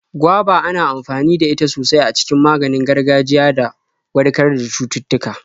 Goba ana amfani da ita sosai a cikin maganin gargajiya do warkar da cututtuka.